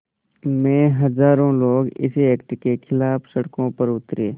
में हज़ारों लोग इस एक्ट के ख़िलाफ़ सड़कों पर उतरे